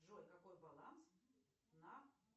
джой какой баланс на